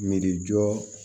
Miirijɔ